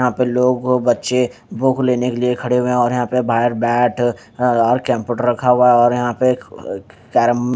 यहा पे लोग व बच्चे बुक लेने के लिए खडे हुए है और यह पे बायर बेट और केम्पुट रखा हुआ है और यहा पे केरम--